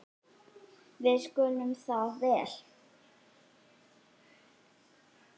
Við skildum það vel.